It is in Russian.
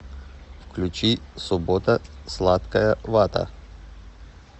включи суббота сладкая вата